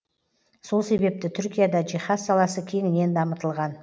сол себепті түркияда жиһаз саласы кеңінен дамытылған